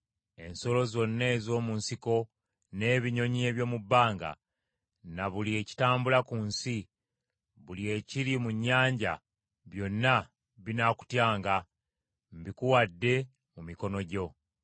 Ensolo zonna ez’omu nsiko, n’ebinyonyi eby’omu bbanga, na buli ekitambula ku nsi, buli ekiri mu nnyanja, byonna binaakutyanga, mbikuwadde mu mikono gyo.